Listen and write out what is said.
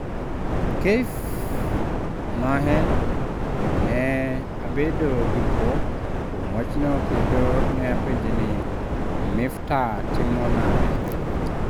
“””Keif ma en,”” ne abedo gi bwok kuom wachno kendo ne apenje ni, Miftah timo nade?”